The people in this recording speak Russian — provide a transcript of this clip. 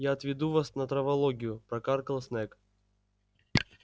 я отведу вас на травологию прокаркал снегг